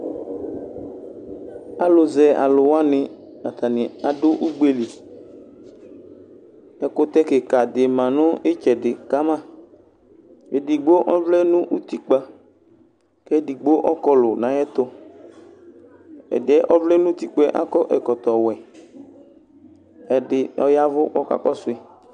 Alʋzɛ alʋ wani atani adʋ ugbe li ɛkʋtɛ kika di manʋ itsɛdi kama edigbo ɔvlɛ nʋ utikpa kʋ edigbo ɔkɔlʋ nʋ ayʋ ɛtʋ ɛdi yɛ ɔvlɛ nʋ utikpa yɛ akɔ ɛkɔtɔwɛ ɛdi ɔya ɛvʋ kakɔsʋ yi